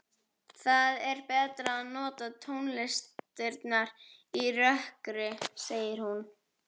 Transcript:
Það er betra að njóta tónlistarinnar í rökkri, segir hún.